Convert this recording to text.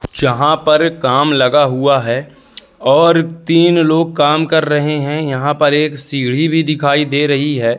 जहां पर काम लगा हुआ है और तीन लोग काम कर रहे हैं यहां पर एक सीढ़ी भी दिखाई दे रही है।